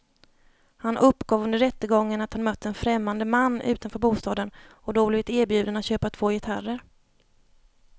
Han uppgav under rättegången att han mött en främmande man utanför bostaden och då blivit erbjuden att köpa två gitarrer.